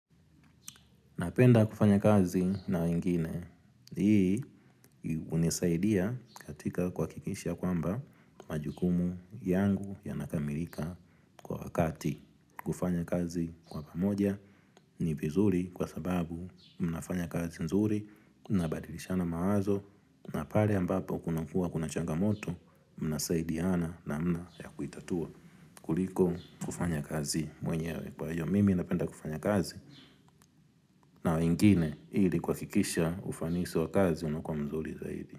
Napenda kufanya kazi na wengine. Hii hunisaidia katika kuhakikisha kwamba majukumu yangu ya nakamilika kwa wakati. Kufanya kazi kwa pamoja ni vizuri kwa sababu mnafanya kazi nzuri. Kuna badirishana mawazo na pare ambapo kuna kuwa kuna changa moto. Mna saidiana namna ya kuitatua. Kuliko kufanya kazi mwenyewe kwa io mimi. Napenda kufanya kazi. Na wengine ili kuhakikisha ufanisi wa kazi unakuwa mzuri zaidi.